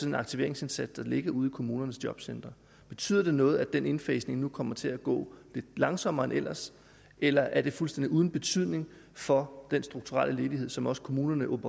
den aktiveringsindsats der ligger ude i kommunernes jobcentre betyder det noget at den indfasning nu kommer til at gå lidt langsommere end ellers eller er det fuldstændig uden betydning for den strukturelle ledighed som også kommunerne